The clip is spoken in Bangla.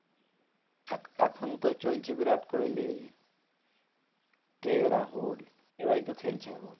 এখ~এখন তো চলছে বিরাট কোহলি রাহুল এরাই তো খেলছে এখন এরা মানে ইন্ডিয়ার হয়ে খেলে তাই তো? হ্যাঁ হ্যাঁ এরা তো ইন্ডিয়ারই player